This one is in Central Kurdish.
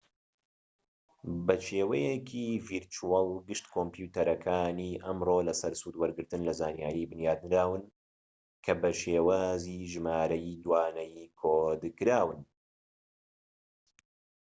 بە شێوەیەکی ڤیرچوەڵ گشت کۆمپیۆتەرەکانی ئەمڕۆ لە سەر سوودوەرگرتن لە زانیاری بنیاتنراون کە بە شێوازی ژمارەی دوانەیی کۆد کراون